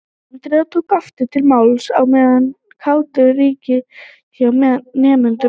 Andrea tók aftur til máls á meðan kátínan ríkti hjá nemendunum.